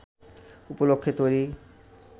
উপলক্ষ্যে তৈরি